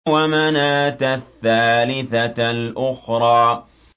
وَمَنَاةَ الثَّالِثَةَ الْأُخْرَىٰ